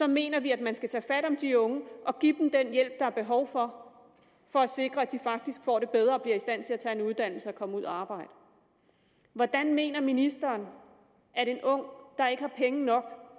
mener vi at man skal tage fat i de unge og give dem den hjælp de har behov for for at sikre at de faktisk får det bedre og bliver i stand til at tage en uddannelse og komme ud og arbejde hvordan mener ministeren at en ung der ikke har penge nok